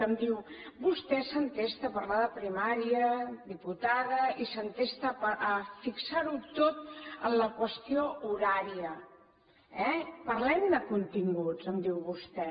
em diu vostè s’entesta a parlar de primària diputada i s’entesta a fixar ho tot en la qüestió horària eh parlem de continguts em diu vostè